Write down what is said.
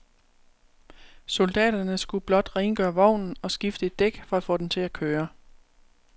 Soldaterne skulle blot rengøre vognen og skifte et dæk for at få den til at køre.